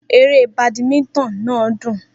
Eré badminton náà dùn.